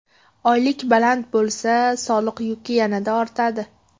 Oylik baland bo‘lsa, soliq yuki yanada ortadi.